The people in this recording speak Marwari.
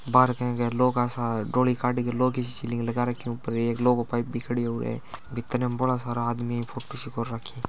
बार के अग लौह का सा डोली काड़ के लोह की सीलिंग लगा रखी है ऊपर लोह को पाइप भी खड़ो है उर --